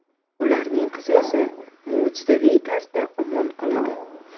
Ularning qizi esa mo‘jizaviy tarzda omon qoladi.